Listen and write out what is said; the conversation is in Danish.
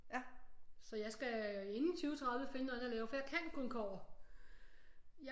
Så jeg skal inden 2030 finde noget andet at lave for jeg kan kun kobber